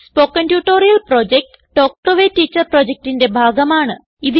spoken tutorial project talk to a teacher പ്രൊജക്റ്റിന്റെ ഭാഗമാണ്